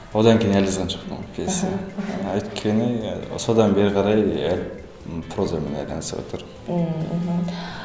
одан кейін әлі жазған жоқпын пьеса өйткені содан бері қарай прозамен айналысыватырмын ммм мхм